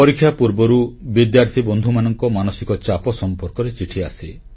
ପରୀକ୍ଷା ପୂର୍ବରୁ ବିଦ୍ୟାର୍ଥୀ ବନ୍ଧୁମାନଙ୍କ ମାନସିକ ଚାପ ସମ୍ପର୍କରେ ଚିଠି ଆସେ